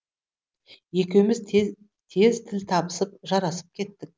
екеуміз тез тіл табысып жарасып кеттік